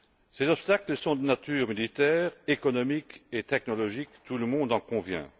Ces obstacles sont de nature unitaire, économique et technologique, tout le monde en convient.